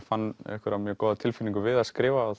fann einhverja mjög góða tilfinningu við að skrifa